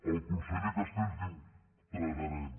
el conseller castells diu tragarem